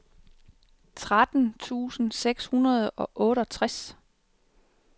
tretten tusind seks hundrede og otteogtres